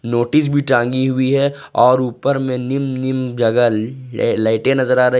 Notice भी टांगी हुई है और ऊपर में निम्न निम्न जगह लाइटें नजर आ रही है।